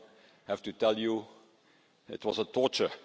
I have to tell you, it was torture.